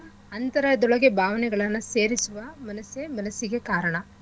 ಅಂತರದೊಳಗೆ ಭಾವನೆಗಳನ್ನ ಸೇರಿಸುವ ಮನಸ್ಸೇ ಮನಸ್ಸಿಗೆ ಕಾರಣ